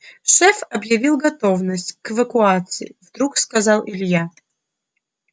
шеф объявил готовность к эвакуации вдруг сказал илья